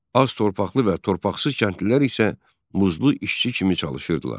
Az torpaqlı və torpaqsız kəndlilər isə muzlu işçi kimi çalışırdılar.